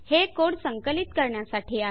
हे कोड संकलित करण्यासाठी आहे